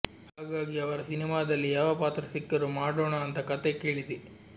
ಹಾಗಾಗಿ ಅವರ ಸಿನಿಮಾದಲ್ಲಿ ಯಾವ ಪಾತ್ರ ಸಿಕ್ಕರೂ ಮಾಡೋಣ ಅಂತ ಕತೆ ಕೇಳಿದೆ